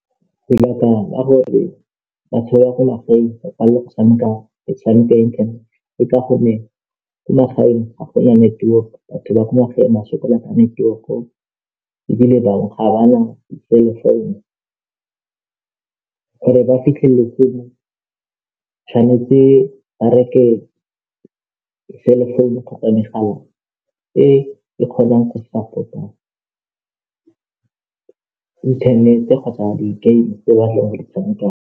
Metshameko ya ilekteroniki ke a e rata ka gonne re dula mo ntlong, mo moriting re tshameka mme lo sa lwe, fela le dutse fela go tshameka le shebile.